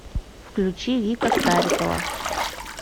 включи вика старикова